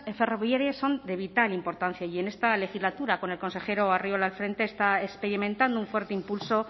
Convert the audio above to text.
ferroviarias son de vital importancia y en esta legislatura con el consejero arriola al frente está experimentando un fuerte impulso